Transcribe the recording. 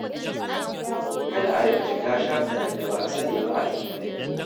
Kada a riƙa shiga shafukan da ba a sani ba a intanet.